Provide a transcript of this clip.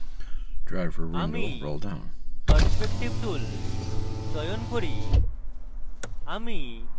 আমি perspective tool চয়ন করি